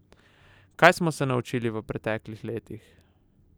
Kaj smo se naučili v preteklih letih?